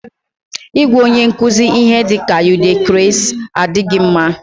Ịgwa onye nkuzi ihe dịka "u dey craze" adịghị mma